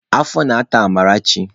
Afọ na-ata Amarachi.